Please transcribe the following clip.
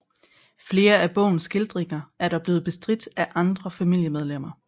Flere af bogens skildringer er dog blevet bestridt af andre familiemedlemmer